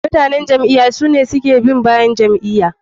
Mutanen jam'iya sune wanda suke bin bayan ja'iya.